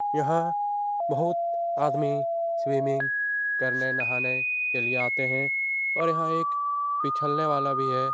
यहाँ बहुत आदमी स्विमिंग करने नहाने के लिए आते हैं और यहाँ एक पिछलने वाला भी है।